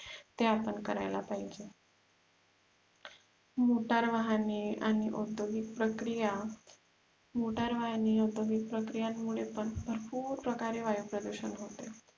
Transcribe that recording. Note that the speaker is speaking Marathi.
ते आपण करायला पाहिजे मोटार वाहने आणि औद्योगिक प्रक्रिया मोटार वाहने औद्योगिक प्रक्रियानमुळे भरपुर प्रकारे वायु प्रदुषण होते